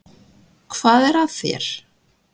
Hvað er að þér?